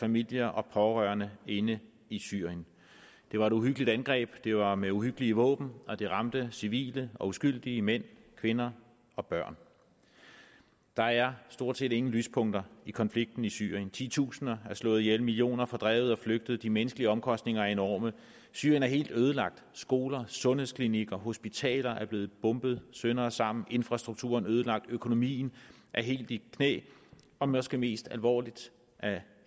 familier og pårørende inde i syrien det var et uhyggeligt angreb det var med uhyggelige våben og det ramte civile og uskyldige mænd kvinder og børn der er stort set ingen lyspunkter i konflikten i syrien titusinder er slået ihjel millioner fordrevet og flygtet de menneskelige omkostninger er enorme syrien er helt ødelagt skoler sundhedsklinikker hospitaler er blevet bombet sønder og sammen infrastrukturen er ødelagt økonomien er helt i knæ og måske mest alvorligt af